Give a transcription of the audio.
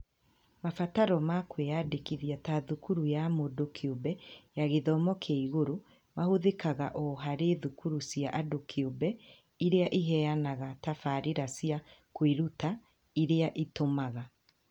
Mabataro ma kwĩyandĩkithia ta thukuru ya mũndũ kĩũmbe ya gĩthomo kĩa igũrũ mahũthĩkaga o harĩ thukuru cia andũ kĩũmbe irĩa iheanaga tabarĩra cia kwĩruta ĩrĩa ĩtũmaga